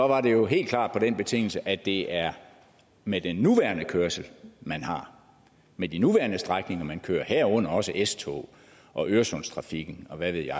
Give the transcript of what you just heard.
var det jo helt klart på den betingelse at det er med den nuværende kørsel man har med de nuværende strækninger man kører herunder også s togs og øresundstrafikken og hvad ved jeg